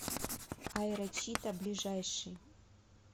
аэрочита ближайший